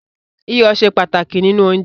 Iyọ̀ ṣe pàtàkì nínú oúnjẹ